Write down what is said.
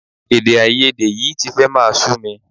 Èdèàìyedè yìí ti fẹ́ máa sú mi